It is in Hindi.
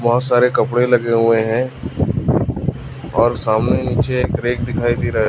बहुत सारे कपड़े लगे हुए हैं और सामने नीचे एक रैक दिखाई दे रहा है।